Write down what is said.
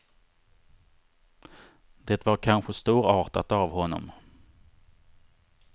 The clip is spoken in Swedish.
Det var kanske storartat av honom.